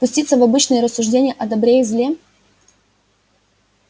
пуститься в обычные рассуждения о добре и зле